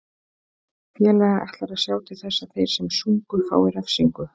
Félagið ætlar að sjá til þess að þeir sem sungu fái refsingu.